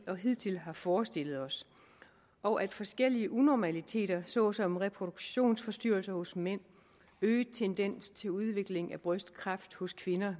og hidtil har forestillet os og at forskellige unormaliteter såsom reproduktionsforstyrrelser hos mænd øget tendens til udvikling af brystkræft hos kvinder